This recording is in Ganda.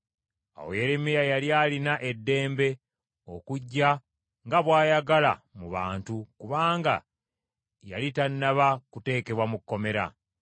Awo Yeremiya yali alina eddembe okujja nga bw’ayagala mu bantu, kubanga yali tannaba kuteekebwa mu kkomera.